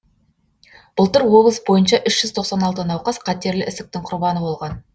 былтыр облыс бойынша үш жүз тоқсан алты науқас қатерлі ісіктің құрбаны болған